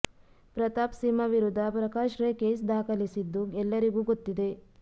ಪ್ರತಾಪ್ ಸಿಂಹ ವಿರುದ್ದ ಪ್ರಕಾಶ್ ರೈ ಕೇಸ್ ದಾಖಲಿಸಿದ್ದು ಎಲ್ಲರಿಗೂ ಗೊತ್ತಿದೆ